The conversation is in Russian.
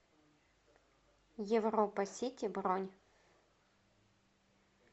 европа сити бронь